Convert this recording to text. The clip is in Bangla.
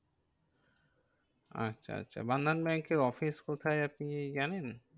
আচ্ছা আচ্ছা, বন্ধন ব্যাঙ্কের office কোথায় আপনি জানেন?